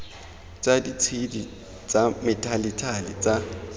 tsa ditshedi tsa methalethale tsa